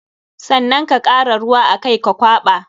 Sannan ka kara ruwa a kai ka kwaɓa.